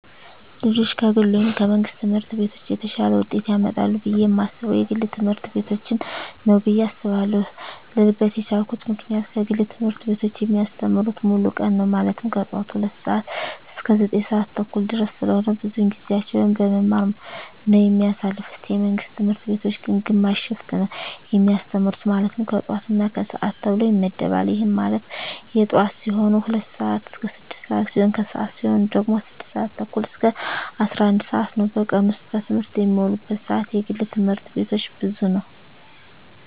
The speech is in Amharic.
ልጆች ከግል ወይም ከመንግሥት ትምህርት ቤቶች የተሻለ ውጤት ያመጣሉ ብየ የማስበው የግል ትምህርት ቤቶችን ነው ብየ አስባለው ልልበት የቻልኩት ምክንያት የግል ትምህርት ቤቶች የሚያስተምሩት ሙሉ ቀን ነው ማለትም ከጠዋቱ 2:00 ሰዓት እስከ 9:30 ድረስ ስለሆነ ብዙውን ጊዜያቸውን በመማማር ነው የሚያሳልፉት የመንግስት ትምህርት ቤቶች ግን ግማሽ ሽፍት ነው የሚያስተምሩ ማለትም የጠዋት እና የከሰዓት ተብሎ ይመደባል ይህም ማለት የጠዋት ሲሆኑ 2:00 ስዓት እስከ 6:00 ሲሆን የከሰዓት ሲሆኑ ደግሞ 6:30 እስከ 11:00 ነው በቀን ውስጥ በትምህርት የሚውሉበት ሰዓት የግል ትምህርት ቤቶች ብዙ ነው።